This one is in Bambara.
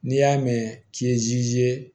N'i y'a mɛn k'i ye